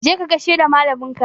Je ka gaishe da malamin ka!